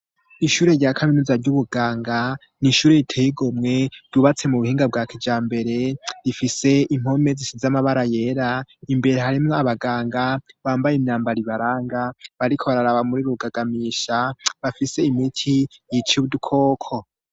ishure rya kaminuza ry'ubuganga ni ishuri riteye igomwe ryubatse mu buhinga bwa kijambere rifise impome zisize amabara yera imbere harimwo abaganga bambaye imyambaro ibaranga bariko bararaba muri rugagamisha bafise imiki yica udukoko